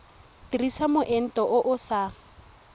dirisa moento o o sa